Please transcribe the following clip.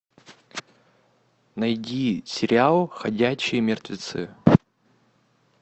найди сериал ходячие мертвецы